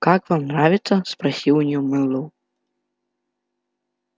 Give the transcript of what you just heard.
как вам нравится спросил у неё мэллоу